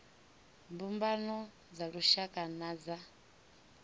mbumbano dza lushaka na dza